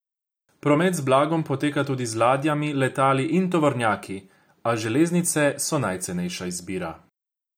Promet z blagom poteka tudi z ladjami, letali in tovornjaki, a železnice so najcenejša izbira.